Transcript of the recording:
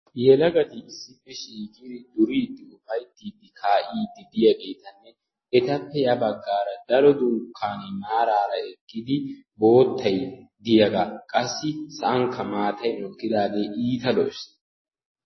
Yelagatti issippe shiiqidi duridi ufayttid ka'id de'yagettanne ettappe ya baggara daro dunkanne maarara eqidagi boottay diyagga qassi sa'ankka maattay mokidagge iitta lo"es.